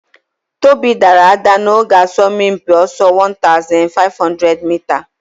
Tobi daara ada n'oge asọmpi ọsọ 1500 mita